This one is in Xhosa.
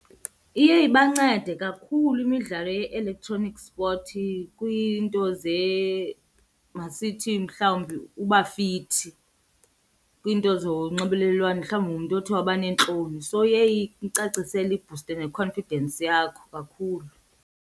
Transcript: Iye ibancede kakhulu imidlalo ye-electronic sport kwiinto masithi mhlawumbi uba fithi kwiinto zonxibelelwano mhlawumbi ungumntu othi waba neentloni, so iye imcacisele ibhuste ne-confidence yakho kakhulu.